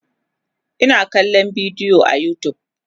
Ina kallan bidiyo a utube